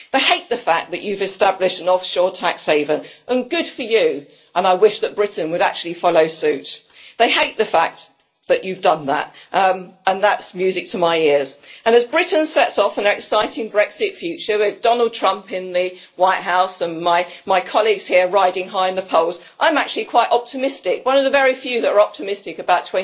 They hate the fact that you've established an offshore tax haven and good for you, and I wish that Britain would actually follow suit. They hate the fact that you've done that, and that's music to my ears. As Britain sets off on an exciting Brexit future with Donald Trump in the White House and my colleagues here riding high in the polls, I'm actually quite optimistic one of the very few who are optimistic about